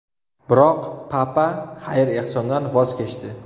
Biroq Papa xayr-ehsondan voz kechdi.